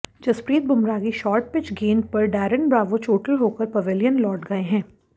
जसप्रीत बुमराह की short pitch गेंद पर डैरेन ब्रावो चोटिल होकर पवेलियन लौट गए हैं